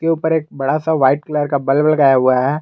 इसके ऊपर एक बड़ा सा वाइट कलर का बल्ब लगाया हुआ है।